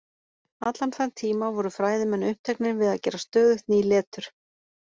Allan þann tíma voru fræðimenn uppteknir við að gera stöðugt ný letur.